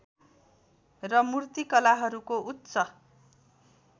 र मूर्तिकलाहरूको उच्च